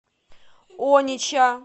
онича